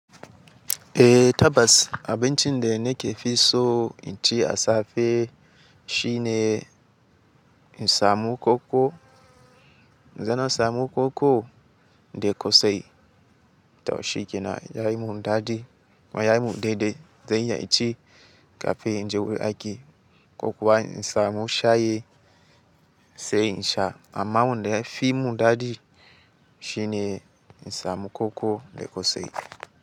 Eh Tabbas, abincin da nake fi so inci a safe shine in samun koko. Dana samun koko da ƙosai. To shikenan yayi mun dadi, kuma yayi mun dede zan iya inci, kafe inje wuri aiki ko kuwa in samu shayi, sai insha. Amma wanda fi mundadi shine in samu koko da ƙosai.